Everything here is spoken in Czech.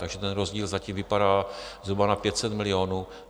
Takže ten rozdíl zatím vypadá zhruba na 500 milionů.